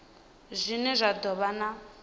zwine zwa do vha na